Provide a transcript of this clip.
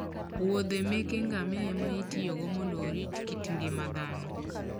wuodhe meke ngamia ema itiyogo mondo orit kit ngima dhano.